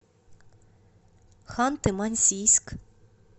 ханты мансийск